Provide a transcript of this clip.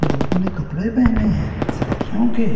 लोगों ने कपड़े पहने हैं सर्दियों के--